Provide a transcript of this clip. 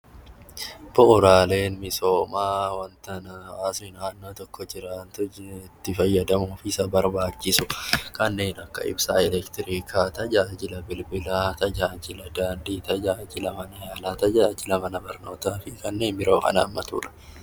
Bu'uuraaleen misoomaa waanta asii naannoo tokko jiraatu itti fayyadamuu fi isa barbaachisu kanneen akka ibsaa elektirikii, tajaajila bilbilaa, tajaajila daandii, tajaajila mana yaalaa, tajaajila mana barnootaa, fi kanneen biroo kan haammatudha.